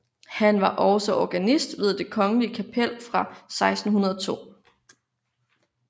Han var også organist ved det kongelige kapel fra 1602